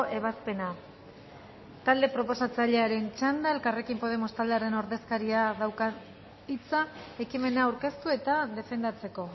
ebazpena talde proposatzailearen txanda elkarrekin podemos taldearen ordezkariak dauka hitza ekimena aurkeztu eta defendatzeko